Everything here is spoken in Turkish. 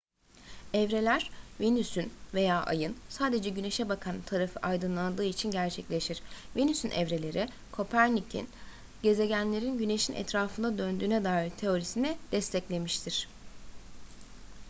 evreler venüs'ün veya ay'ın sadece güneş'e bakan tarafı aydınlandığı için gerçekleşir. venüs'ün evreleri kopernik'in gezegenlerin güneş'in etrafında döndüğüne dair teorisini desteklemiştir